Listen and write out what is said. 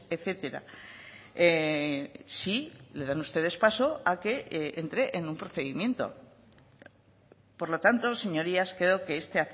etcétera si le dan ustedes paso a que entre en un procedimiento por lo tanto señorías creo que este